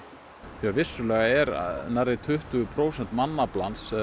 vissulega er nærri tuttugu prósent mannaflans